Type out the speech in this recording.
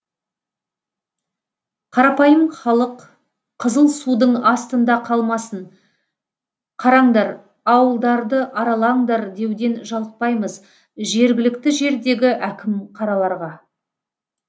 қарапайым халық қызыл судың астында қалмасын қараңдар ауылдарды аралаңдар деуден жалықпаймыз жергілікті жердегі әкім қараларға